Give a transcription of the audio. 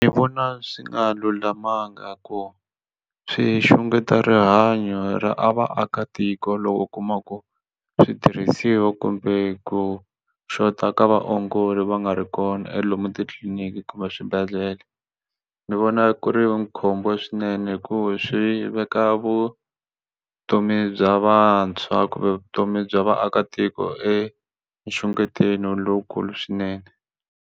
Ni vona swi nga lulamanga ku swi xungeta rihanyo ra a vaakatiko loko u kuma ku switirhisiwa kumbe ku xota ka vaongori va nga ri kona e lomu titliliniki kumbe swibedhlele ni vona ku ri na khombo swinene hikuva swi veka vutomi bya vantshwa kumbe vutomi bya vaakatiko enxugetelweni lowukulu swinene.